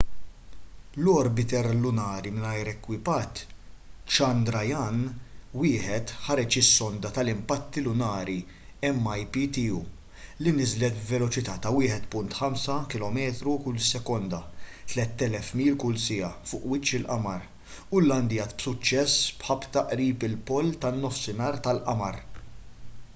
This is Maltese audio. l-orbiter lunari mingħajr ekwipaġġ chandrayaan-1 ħareġ is-sonda tal-impatti lunari mip tiegħu li niżlet b'veloċità ta' 1.5 kilometru kull sekonda 3,000 mil kull siegħa fuq wiċċ il-qamar u llandjat b'suċċess b'ħabta qrib il-pol tan-nofsinhar tal-qamar